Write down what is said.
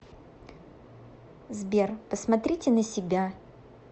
сбер посмотрите на себя